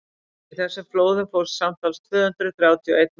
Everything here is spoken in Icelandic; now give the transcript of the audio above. í þessum flóðum fórst samtals tvö hundruð þrjátíu og einn maður